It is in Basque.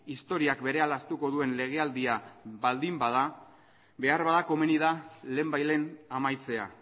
historiak berehala ahaztuko duen legealdia baldin bada beharbada komeni da lehenbailehen amaitzea